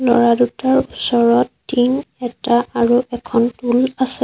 ল'ৰা দুটাৰ ওচৰত টিং এটা আৰু এখন টুল আছে।